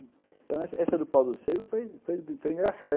Então, essa essa do pau-do-sebo foi engraçada.